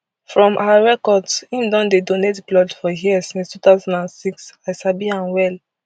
from our records im don dey donate blood for hia since two thousand and six i sabi am well